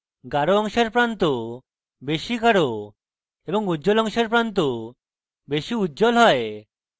গাঢ় অংশের প্রান্ত বেশী গাঢ় এবং উজ্জ্বল অংশের প্রান্ত বেশী উজ্জ্বল হয়